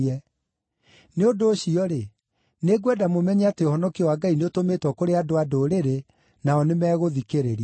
“Nĩ ũndũ ũcio-rĩ, nĩngwenda mũmenye atĩ ũhonokio wa Ngai nĩũtũmĩtwo kũrĩ andũ-a-Ndũrĩrĩ, nao nĩmegũthikĩrĩria!”